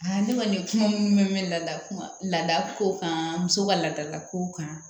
ne kɔni kuma minnu bɛ mɛn lada laada ko kan muso ka laadalakow kan